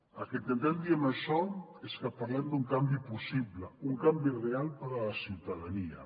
el que intentem dir amb això és que parlem d’un canvi possible un canvi real per a la ciutadania